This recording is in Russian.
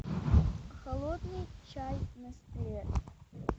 холодный чай нестле